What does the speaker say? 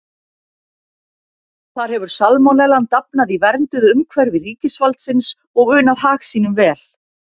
Þar hefur salmonellan dafnað í vernduðu umhverfi ríkisvaldsins og unað hag sínum vel.